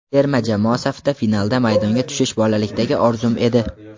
Terma jamoa safida finalda maydonga tushish bolalikdagi orzum edi.